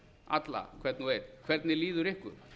alla hvern og einn hvernig líður ykkur